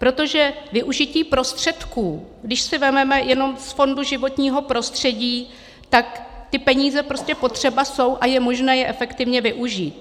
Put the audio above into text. Protože využití prostředků, když si vezmeme jenom z fondu životního prostředí, tak ty peníze prostě potřeba jsou a je možné je efektivně využít.